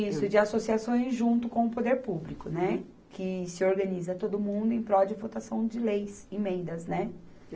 Isso, de associações junto com o Poder Público, né, que se organiza todo mundo em prol de votação de leis, emendas, né.